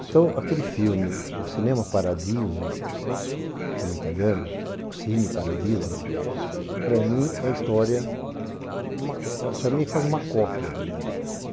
Então aquele filme, o Cinema Paradiso, filme italiano, o Cine Paradiso, para mim é história, para mim é quase uma cópia da minha vida.